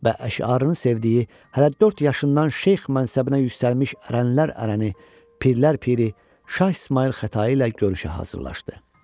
Və əşarını sevdiyi, hələ dörd yaşından Şeyx mənsəbinə yüksəlmiş ərənlər ərəni, Pirlər Piri, Şah İsmayıl Xətai ilə görüşə hazırlaşdı.